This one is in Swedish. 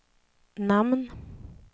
namn